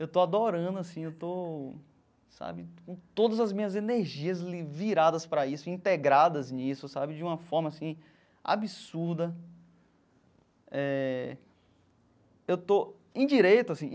Eu estou adorando assim eu estou sabe, com todas as minhas energias ali viradas para isso, integradas nisso sabe, de uma forma assim absurda eh eu estou em direito assim.